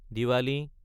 Diwali